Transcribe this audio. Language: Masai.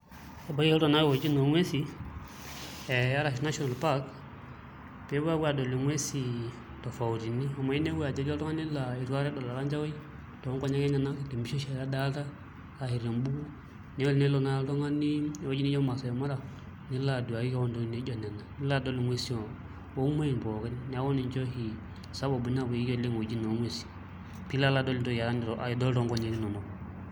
Ebaiki ake iltung'anak aashom ewueji oonguesin ee arashu National park pee epuo apuo aadol nguesi tofautini amu inepu ajo etii oltung'ani laa itu akata edol orkancahaoi too nkonyek enyenak te mpisha oshiake edalta ashu te mbuku neeku tenelo naai oltung'ani ewueji nijio Maasai Mara nilo aduaki keon ntokitin nijio nena, nilo adol nguesi oo muain pookin neeku ninche oshi sababu napuoyieki kunewueitin oo nguesin piilo adol entoki nitu aikata idol toonkonyek inonok.